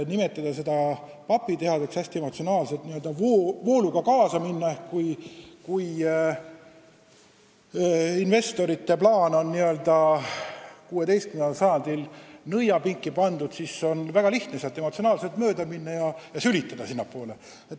Nimetada seda papitehaseks ja hästi emotsionaalselt vooluga kaasa minna – no kui investorite plaan on nagu 16. sajandi nõiapinki pandud, siis on väga lihtne sellele mööda minnes sülitada.